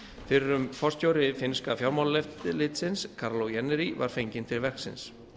fyrrum forstjóri finnska fjármálaeftirlitsins kaarlo jännäri var fenginn til verksins